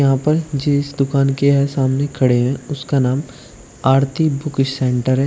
यहां पर जिस दुकान के है सामने खड़े है उसका नाम आरती बुक सेंटर है।